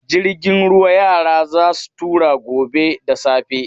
Jirgin ruwa yara za su tura gobe da safe.